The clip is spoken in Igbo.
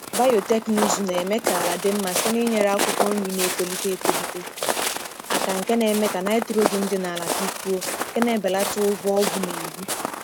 Biotekịnụzụ na-eme ka ala dị mma site n’inyere akwụkwọ nri na-etolite etolite aka nke na-eme ka nitrogen dị na ala dịkwuo, nke na-ebelata ụgwọ ọgwụ na-eri.